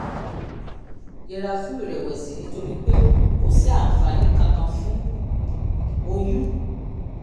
yẹra fún ìrẹ̀wẹ̀sì nítorí pé kò sí àǹfààní kankan fún oyún